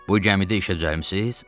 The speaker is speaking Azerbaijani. Bu gəmidə işə düzəlmisiz?